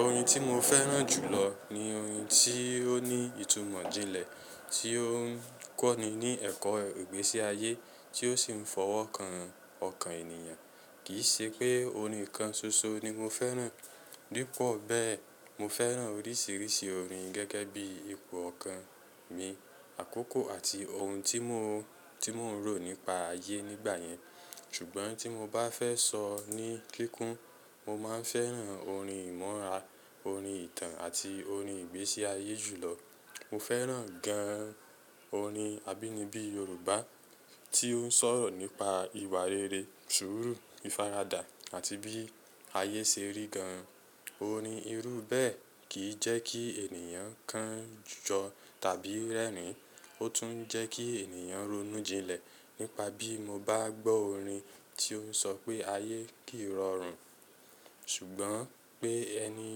Orin tí mo fẹ́ràn jùlọ ni orin tí ó ní ìtumọ̀ jinlẹ̀, tí ó ń kọ́ni ní ẹ̀kọ́ ìgbésí ayé, tí ó sì ń fọwọ́kan ọkàn ènìyàn. Kì í ṣe pé orin kan ṣoṣo ni mo fẹ́ràn. Dípò bẹ́ẹ̀, mo fẹ́ràn oríṣìíríṣìí orin gẹ́gẹ́ bí ipò ọkàn mi, àkókò àti ohun tí mo, tí mò ń rò nípa ayé nígbà yẹn. Ṣùgbọ́n tí mo bá fẹ́ sọ ní kíkún, mo máa ń fẹ́ràn orin ìmọ̀ra, orin ìtàn àti orin ìgbésí ayé jùlọ. Mo fẹ́ràn gan an orin abínibí Yorùbá tí ó ń sọ̀rọ̀ nípa ìwà rere, sùúrù, ìfaradà àti bí ayé ṣe rí gan an. Orin irú bẹ́ẹ̀ kì í jẹ́ kí ènìyàn kan jọ tàbí rẹ́rìn-ín. Ó tún ń jẹ́ kí ènìyàn ronú jinlẹ̀. Nípa bí mo bá gbọ́ orin tí ó ń sọ pé ayé kìí rọrùn, ṣùgbọ́n pé ẹni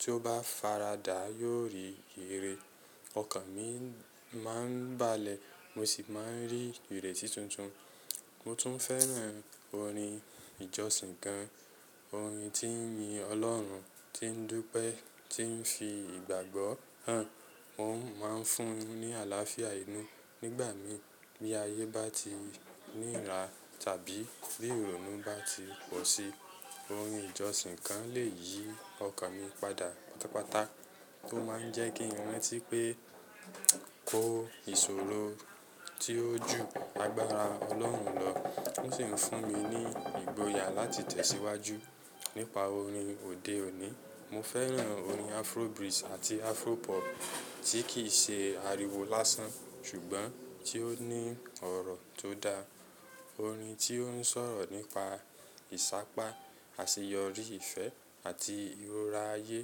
tí ó bá faradà yóò rí ère. Ọkàn mi máa ń balẹ̀, mo sì máa ń rí ìrètí tuntun. Mo tún fẹ́ràn orin ìjọsìn gan an. Orin tí ń yin Ọlọ́run, tí ń dúpẹ́, tí ń fi ìgbàgbọ́ hàn. Ó ń máa ń fún ni àlàáfíà inú. Nígbà mí bí ayé bá ti nira tàbí bí ìrònú bá ti pọ̀ sí i, orin ìjọsìn kan lè yí ọkàn mi padà pátápátá. Tó máa ń jẹ́ kí ń rántí pé kó si ìṣòro tí ó ju agbára Ọlọ́run lọ. Ó sì ń fún mi ní ìgboyà láti tẹ̀síwájú. Nípa orin òde òní, mo fẹ́ràn orin Afrobeat àti Afropop tí kì í ṣe ariwo lásán ṣùgbọ́n tí ó ní ọ̀rọ̀ tó da. Orin tí ó ń sọ̀rọ̀ nípa ìṣápá, àṣeyọrí, ìfẹ́ àti ìrora ayé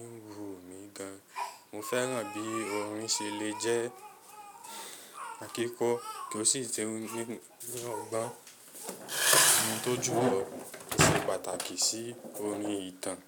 ń wu mi gan an. Mo fẹ́ràn bí orin ṣe lè jẹ́ kíkọ́ kí ó sì tẹ́wọ́ gbọ́ ẹni tó jù ọ. Ó ṣe pàtàkì sí orin ìtàn.